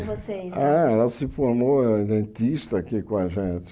Vocês Ela se formou eh dentista aqui com a gente.